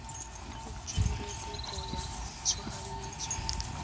o dire kopo ya tshoganyetso